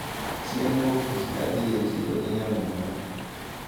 Chieng` wuok tich nadhi e chiro gi nyaminwa.